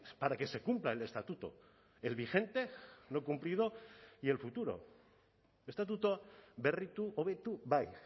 para que se cumpla el estatuto el vigente no cumplido y el futuro estatutu berritu hobetu bai